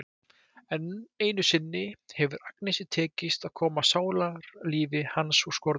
Enn einu sinni hefur Agnesi tekist að koma sálarlífi hans úr skorðum.